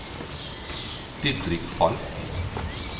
Didrik Falch